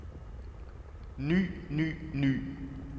ny ny ny